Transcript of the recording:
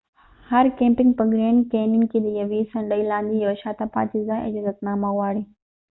هر کېمپنګ په ګریڼد کېنین کې د یوې څنډی لاندې د یو شاته پاتی ځای اجازتنامه غواړي